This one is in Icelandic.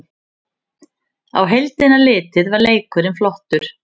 Á heildina litið var leikurinn flottur